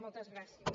moltes gràcies